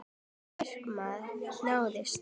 Það markmið náðist.